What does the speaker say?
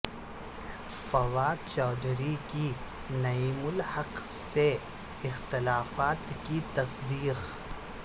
فواد چوہدری کی نعیم الحق سے اختلافات کی تصدیق